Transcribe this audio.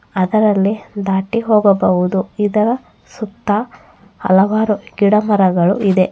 ಅದರಲ್ಲಿ ದಾಟಿ ಹೋಗಬಹುದು ಇದರ ಸುತ್ತ ಹಲವಾರು ಗಿಡ ಮರಗಳು ಇದೆ.